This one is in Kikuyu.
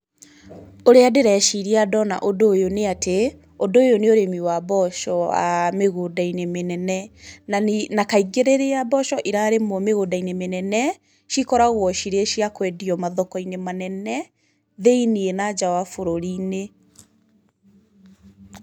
Ũrĩa ndĩreciria ndona ũndũ ũyũ nĩ atĩ ũndũ ũyũ nĩ ũrĩmi wa mboco wa mĩgunda-inĩ mĩnene, na kaingĩ rĩrĩa mboco irarĩmwo mĩgunda-inĩ mĩnene cikoragwo cirĩ cia kũendio mathoko-inĩ manene thĩiniĩ na nja wa bũrũri-inĩ.